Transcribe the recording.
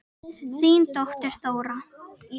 Þín dóttir, Þóra.